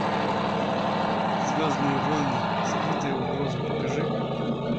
звездные войны скрытая угроза покажи